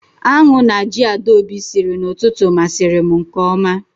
Aṅụ na ji Adaobi siri n'ụtụtụ masiri m nke oma